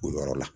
O yɔrɔ la